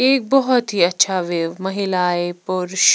एक बहुत ही अच्छा वेव महिलाएं पुरुष--